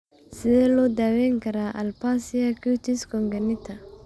Sidee loo daweyn karaa aplasia cutis congenita?